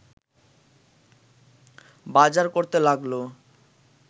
বাজার করতে লাগল